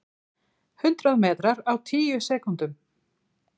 Hundrað metrar á tíu sekúndum!